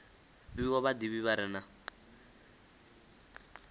fhiwa vhadivhi vha re na